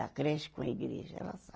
Da creche com a igreja, ela sabe.